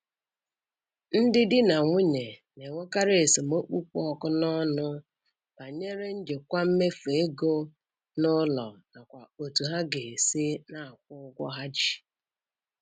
Ndị di na nwunye na-enwekarị esemokwu kpụ ọkụ n'ọnụ banyere njikwa mmefu ego n'ụlọ nakwa otú ha ga-esi na-akwụ ụgwọ ha ji.